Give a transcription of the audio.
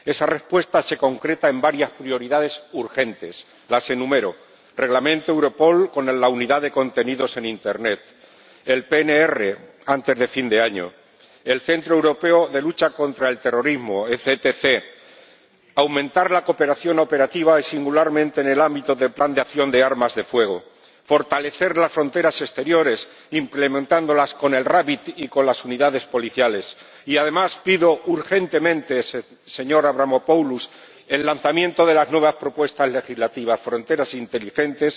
Esa respuesta se concreta en varias prioridades urgentes. Las enumero Reglamento Europol, con la Unidad de Notificación de Contenidos en Internet el PNR, antes de fin de año el Centro Europeo de Lucha contra el Terrorismo aumentar la cooperación operativa y, singularmente, en el ámbito del Plan de acción operativo sobre las armas de fuego fortalecer las fronteras exteriores implementándolas con los RABIT y con las unidades policiales. Y, además, pido urgentemente, señor Avramopoulos, el lanzamiento de las nuevas propuestas legislativas fronteras inteligentes,